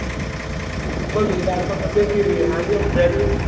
બોલ બીજું તાર તો તબિયત કેવી હે હારી હ ready હ